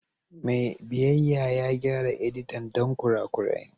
Mai biyayya ya gyara editan don kurakurai.